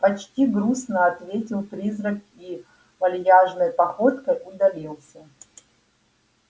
почти грустно ответил призрак и вальяжной походкой удалился